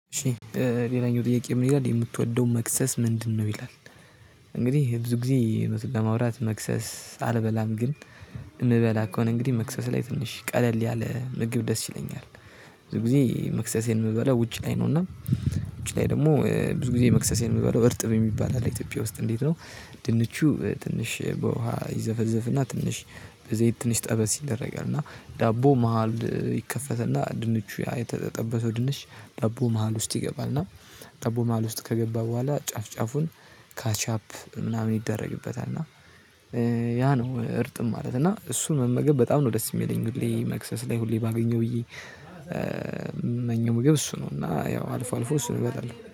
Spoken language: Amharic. ሌላኛው ጥያቄ ምን ይላል የምትወደው መክሰስ ምንድነው? ይላል። እንግዲህ ብዙ ጊዜ እውነቱን ለማውራት መክሰስ አልበላም። ግን እምበላ ከሆነ እንግዲህ መክሰስ ላይ ትንሽ ቀለል ያለ ምግብ ደስ ይለኛል። ብዙ ጊዜ መክሰሴን የምበለው ውጭ ላይ ነው። እና ውጭ ላይ ደግሞ ብዙ ጊዜ መክሰሴን የምበለው እርጥም የሚባል አለ። ኢትዮጵያ ውስጥ እንዴት ነው ድንቹ ትንሽ በውሃ ይዘፈዘፍና ትንሽ በዘይት ትንሽ ጠበስ ይደረጋል። እና ዳቦ መሃል ይከፈትና ድንቹ ያ የተጠበሰው ድንች ዳቦ መሃል ውስጥ ይገባል። እና ዳቦ መሃል ውስጥ ከገባ በኋላ ጫፍ ጫፉን ካች አፕ ምናምን ይደረግበታል። እና ያ ነው እርጥም ማለት። እና እሱን መመገብ በጣም ነው ደስ የሚለኝ። ሁሌ መክሰስ ላይ ሁሌ ባገኘው ብዬ ምመኘም ምግብ እሱ ነው። እና ያው አልፎ አልፎ እሱ እበላለሁ።